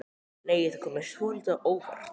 Nei! Það kom mér svolítið á óvart!